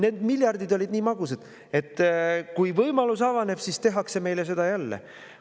Need miljardid olid nii magusad, et kui võimalus avaneb, siis tehakse meile seda jälle.